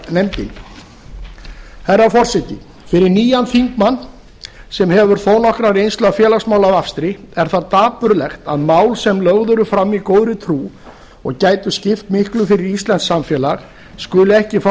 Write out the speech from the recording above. mannréttindanefndinni herra forseti fyrir nýjan þingmann sem hefur þó nokkra reynslu af félagsmálavafstri er það dapurlegt að mál sem lögð eru fram í góðri trú og gætu skipt miklu fyrir íslenskt samfélag skuli ekki fá